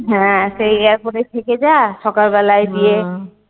হ্যাঁ সেই airport এ থেকে যা সকালবেলায় গিয়ে